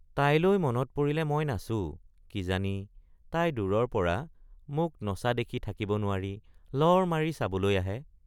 তাইলৈ মনত পৰিলে মই নাচো কিজানি তাই দূৰৰ পৰা মোক নচা দেখি থাকিব নোৱাৰি লৰ মাৰি চাবলৈ আহে।